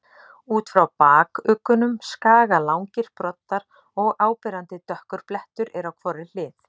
Út frá bakuggunum skaga langir broddar og áberandi dökkur blettur er á hvorri hlið.